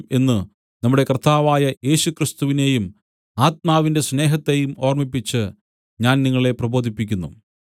എന്നു നമ്മുടെ കർത്താവായ യേശുക്രിസ്തുവിനെയും ആത്മാവിന്റെ സ്നേഹത്തെയും ഓർമ്മിപ്പിച്ചു ഞാൻ നിങ്ങളെ പ്രബോധിപ്പിക്കുന്നു